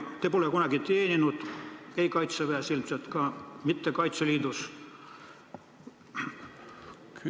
Te pole kunagi teeninud Kaitseväes ega ilmselt ka mitte Kaitseliidus.